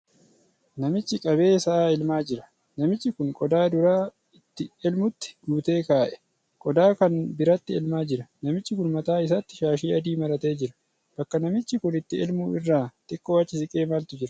Namichi qabee sa'a elmaa jira. Namichi kun qodaa dura itti elmutti guutee ka'ee, qodaa kan biraatti elmaa jira. Namichi kun mataa isaatti shaashii adii maratee jira. Bakka namichi kun itti elmu irraa xiqqoo achi siqee maaltu jira?